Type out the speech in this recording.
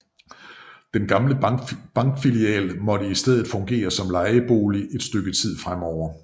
Den gamle bankfilial måtte i stedet fungere som lejebolig et stykke tid fremover